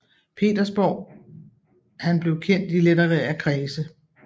Petersborg han blev kendt i litterære kredse